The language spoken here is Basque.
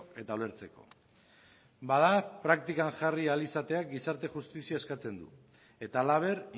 eta ulertzeko bada praktikan jarri ahal izateak gizarte justizia eskatzen du eta halaber